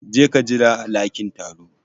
Je ka jira a lakin taro.